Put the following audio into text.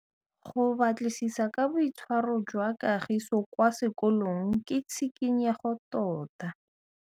Go batlisisa ka boitshwaro jwa Kagiso kwa sekolong ke tshikinyêgô tota.